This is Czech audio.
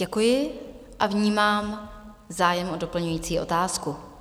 Děkuji a vnímám zájem o doplňující otázku.